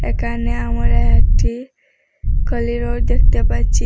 এখানে আমরা একটি কলিডোর দেখতে পাচ্ছি।